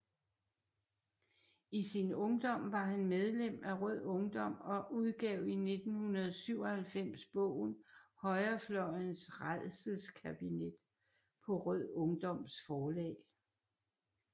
I sin ungdom var han medlem af Rød Ungdom og udgav i 1997 bogen Højrefløjens rædselskabinet på Rød Ungdoms Forlag